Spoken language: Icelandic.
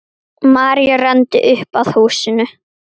María renndi upp að húsinu.